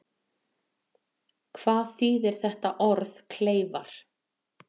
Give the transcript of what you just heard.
Hvað þýðir þetta orð kleifar?